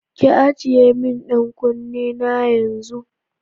Ki ajiye min ɗan kunne na yanzu!